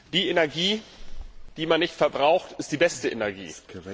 Die Energie, die man nicht verbraucht, ist die beste Energie.